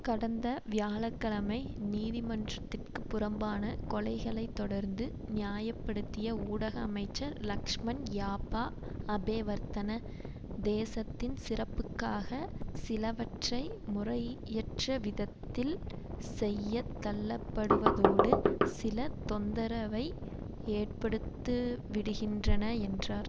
கடந்த வியாழ கிழமை நீதிமன்றத்திற்கு புறம்பான கொலைகளை தொடர்ந்து நியாய படுத்திய ஊடக அமைச்சர் லக்ஷ்மன் யாப்பா அபேவர்தன தேசத்தின் சிறப்புக்காக சிலவற்றை முறையற்ற விதத்தில் செய்ய தள்ளப்படுவதோடு சில தொந்தரவை ஏற்படுத்துவிடுகின்றன என்றார்